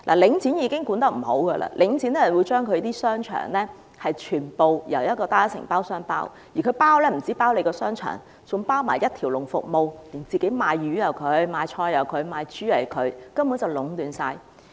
領展已經管理不善，兼且會把商場全部交由單一承包商承包，而且不止是承包商場，還承包一條龍服務，賣魚、賣菜、賣豬肉均是同一承包商，根本是壟斷。